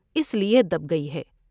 اس لیے دب گئی ہے ۔